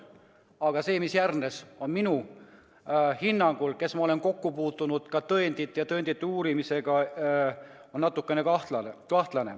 Aga see, mis järgnes, on minu hinnangul, kes ma olen kokku puutunud ka tõendite uurimisega, natukene kahtlane.